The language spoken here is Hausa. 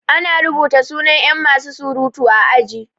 Ana rubuta suna yan masu surutu a aji